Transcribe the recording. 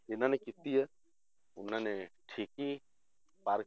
ਜਿੰਨਾਂ ਨੇ ਕੀਤੀ ਆ, ਉਹਨਾਂ ਨੇ ਠੀਕ ਹੀ ਪਾਰ